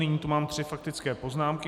Nyní tu mám tři faktické poznámky.